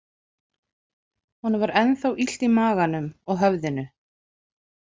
Honum var ennþá illt í maganum og höfðinu.